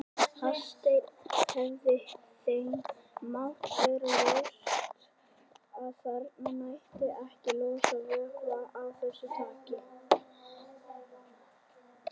Hafsteinn: Hefði þeim mátt vera ljóst að þarna mætti ekki losa vökva af þessu tagi?